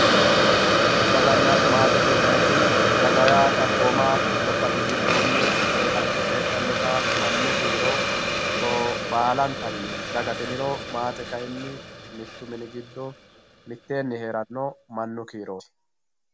Dagana maatete yinanniti, daga yaa xaphooma gobbate giddoni woyi kalqete heedhanotta mannu kiiro baalantanni dagate yiniro maate kayinni mitu mini giddo mitteenni heerano mannu kiiroti.